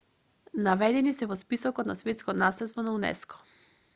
наведени се во списокот на светско наследство на унеско